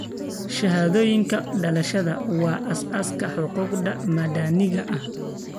Shahaadooyinka dhalashada waa aasaaska xuquuqda madaniga ah.